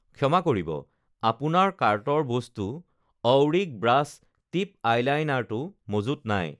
ক্ষমা কৰিব, আপোনাৰ কাৰ্টৰ বস্তু অউৰিক ব্ৰাছ টিপ আইলাইনাৰটো মজুত নাই